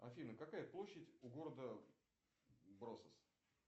афина какая площадь у города бросос